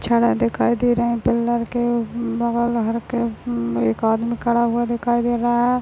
छड़ा दिखाई दे रहा पिलर के बाल लहर के म एक आदमी खड़ा हुआ दिखाई दे रहा है।